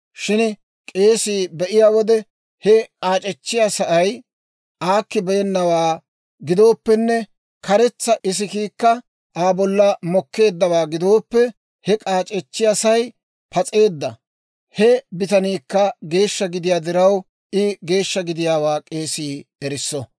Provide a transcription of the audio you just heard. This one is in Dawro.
Shin k'eesii be'iyaa wode, he k'aac'echchiyaasay aakkibeennawaa gidooppenne karetsa isikiikka Aa bolla doleeddawaa gidooppe, he k'aac'echchiyaasay pas'eedda. He bitaniikka geeshsha gidiyaa diraw, I geeshsha gidiyaawaa k'eesii erisso.